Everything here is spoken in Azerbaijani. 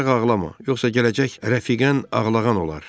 Ancaq ağlama, yoxsa gələcək rəfiqən ağlağan olar.